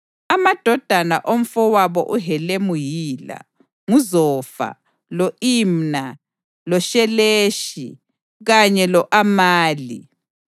Amadodana omfowabo uHelemu yila: nguZofa, lo-Imna, loSheleshi kanye lo-Amali.